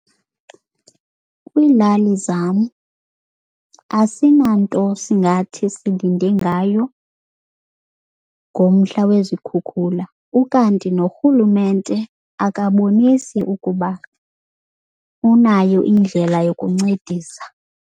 Kwiilali zam asinanto singathi silinde ngayo ngomhla wezikhukhula, ukanti norhulumente akabonisi ukuba unayo indlela yokuncedisa.